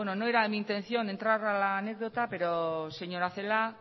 no era mi intención de entrar a la anécdota pero señora celaá